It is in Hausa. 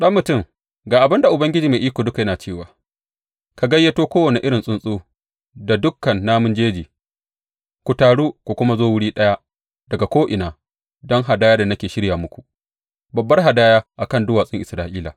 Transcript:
Ɗan mutum, ga abin da Ubangiji Mai Iko Duka yana cewa, ka gayyato kowane irin tsuntsu da dukan namun jeji, Ku taru ku kuma zo wuri ɗaya daga ko’ina don hadayar da nake shirya muku, babbar hadaya a kan duwatsun Isra’ila.